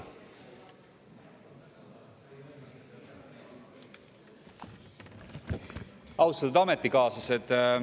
Austatud ametikaaslased!